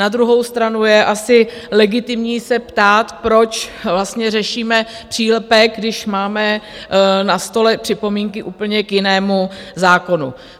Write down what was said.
Na druhou stranu je asi legitimní se ptát, proč vlastně řešíme přílepek, když máme na stole připomínky k úplně jinému zákonu.